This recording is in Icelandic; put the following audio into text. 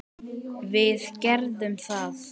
Við gerðum það.